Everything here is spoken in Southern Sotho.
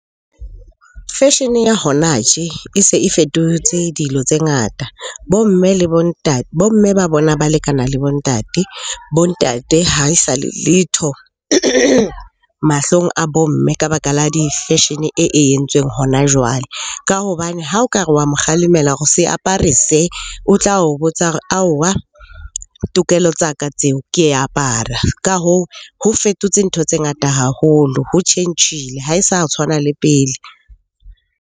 Fashion-e ya hona tje e se e fetotse dilo tse ngata. Bo mme le bo mme ba bona ba lekana le bo ntate. Bo ntate ha e sa le letho mahlong a bo mme ka baka la di-fashion-e e, e entsweng hona jwale. Ka hobane ha o ka re wa mo kgalemela hore se apare se, o tla o botsa aowa tokelo tsa ka tseo ke apara. Ka hoo, ho fetotse ntho tse ngata haholo, ho tjhentjhile, ha e sa tshwana le pele.